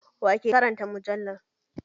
Wa ke karanta mujallar?